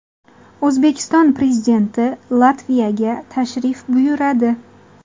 O‘zbekiston Prezidenti Latviyaga tashrif buyuradi.